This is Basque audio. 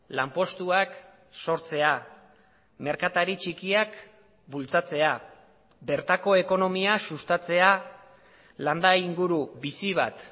lanpostuak sortzea merkatari txikiak bultzatzea bertako ekonomia sustatzea landa inguru bizi bat